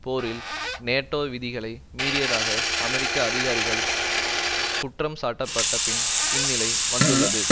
போரில் நேட்டோ விதிகளை மீறியதாக அமெரிக்க அதிகாரிகள் குற்றம் சாட்டப்பட்டபின் இந்நிலை வந்துள்ளது